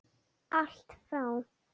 Allt frá